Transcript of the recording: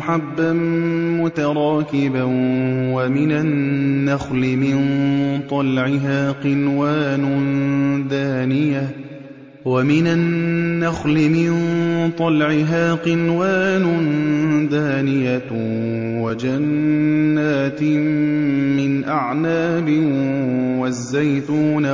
حَبًّا مُّتَرَاكِبًا وَمِنَ النَّخْلِ مِن طَلْعِهَا قِنْوَانٌ دَانِيَةٌ وَجَنَّاتٍ مِّنْ أَعْنَابٍ وَالزَّيْتُونَ